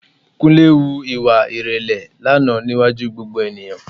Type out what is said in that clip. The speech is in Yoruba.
Kúnlé hu ìwà ìrẹ̀lẹ̀ lánàá níwájú gbogbo ènìyàn